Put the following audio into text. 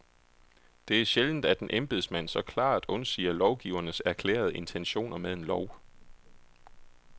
Det er sjældent, at en embedsmand så klart undsiger lovgivernes erklærede intentioner med en lov.